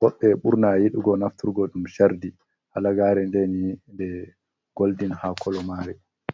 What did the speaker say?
Woɓɓe ɓurna yiɗugo nafturgo ɗum chardi. Halagare nden nde goldin ha kolo mare.